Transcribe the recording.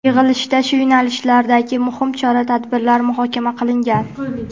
yig‘ilishda shu yo‘nalishlardagi muhim chora-tadbirlar muhokama qilingan.